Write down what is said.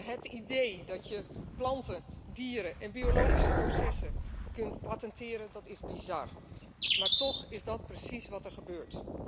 Het idee dat je planten, dieren en biologische processen kunt patenteren, is bizar, maar toch is dat precies wat er gebeurt.